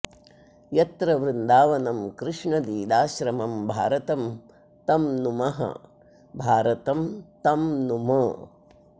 यत्र वृन्दावनं कृष्णलीलाश्रमं भारतं तं नुमो भारतं तं नुम